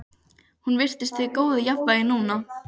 Hún virtist í góðu jafnvægi núna.